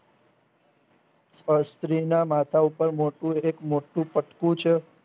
અ સ્ત્રીના માથા ઉપર મોટું એક મોટું પોટલું છે.